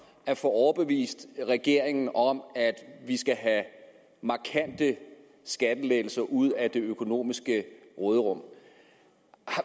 at få overbevist regeringen om at vi skal have markante skattelettelser ud af det økonomiske råderum